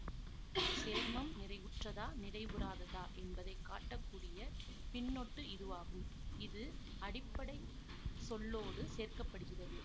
சேர்மம் நிறைவுற்றதா நிறைவுறாததா என்பதை காட்டக்கூடிய பின்னொட்டு இதுவாகும் இது அடிப்படை சொல்லோடு சேர்க்க படுகிறது